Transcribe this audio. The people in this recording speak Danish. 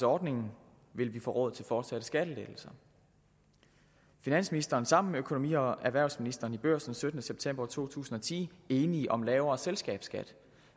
ordningen vil vi få råd til fortsatte skattelettelser finansministeren er sammen med økonomi og erhvervsministeren i børsen den syttende september to tusind og ti enig om lavere selskabsskat